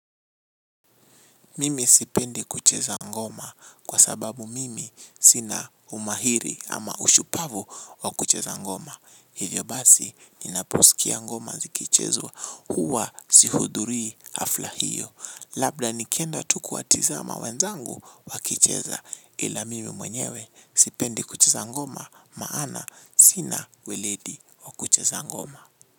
Mimi sipendi kucheza ngoma kwa sababu mimi sina umahiri ama ushupavu wa kucheza ngoma. Hivyo basi ninaposikia ngoma zikichezwa huwa sihudhurii hafla hiyo. Labda nikienda tu kuwatizama wenzangu wa kicheza ila mimi mwenyewe sipendi kucheza ngoma maana sina weledi wa kucheza ngoma.